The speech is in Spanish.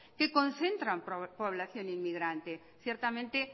que concentran población inmigrante ciertamente